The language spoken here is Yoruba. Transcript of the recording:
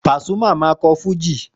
Pasuma máa ń kọ́ fújì